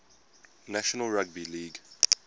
national rugby league